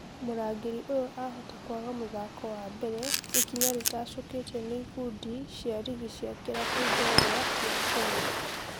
Mũrangĩri ũyo ahota kwaga mũthako wa mbere ikinya rĩtacũketio nĩ ikundi cia rigi cia kĩrabu njorua kĩa Kenya